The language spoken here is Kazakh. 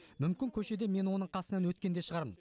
мүмкін көшеде мен оның қасынан өткен де шығармын